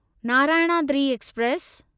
Narayanadri express